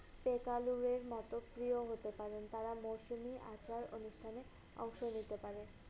paypalway র মতো প্রিয় হতে পারেন। তারা মৌসুমি আচার অনুষ্ঠানে অংশ নিতে পারে।